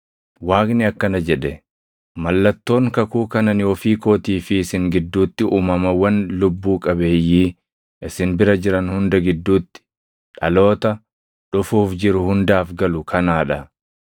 Waaqni akkana jedhe; “Mallattoon kakuu kan ani ofii kootii fi isin gidduutti, uumamawwan lubbuu qabeeyyii isin bira jiran hunda gidduutti, dhaloota dhufuuf jiru hundaaf galu kanaa dha.